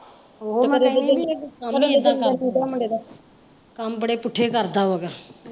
ਓਹੋ ਮੁੰਡੇ ਦਾ, ਕੰਮ ਬੜੇ ਪੁੱਠੇ ਕਰਦਾ ਵਾ।